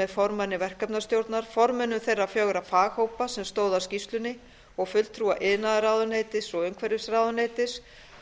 með formanni verkefnastjórnar formönnum þeirra fjögurra faghópa sem stóðu að skýrslunni og fulltrúa iðnaðarráðuneytis og umhverfisráðuneytis